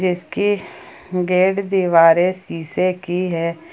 इसकी गेट दीवारें शीशे की हैं।